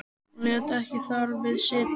Hún lét ekki þar við sitja.